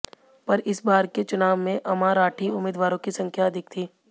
पर इस बार के चुनाव में अमाराठी उम्मीदवारों की संख्या अधिक थी